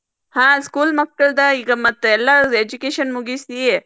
ಹಾ school ಮಕ್ಕಳ್ದ ಈಗ ಮತ್ತೆಲ್ಲಾ ಈಗ education ಮುಗಿಸಿ.